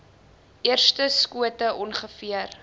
eerste skote ongeveer